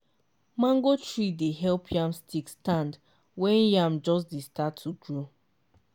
mango tree dey help yam stick stand when yam just dey start to grow.